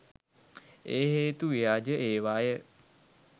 ඒ හේතු ව්‍යාජ ඒවාය.